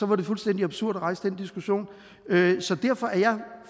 det fuldstændig absurd at rejse den diskussion så derfor er jeg